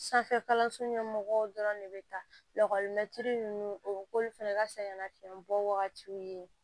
Sanfɛkalanso ɲɛmɔgɔw dɔrɔn de bɛ taa lakɔlimɛtiri ninnu o k'olu fana ka saɲɛnafiɲɛ bɔ wagatiw ye